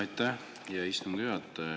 Aitäh, hea istungi juhataja!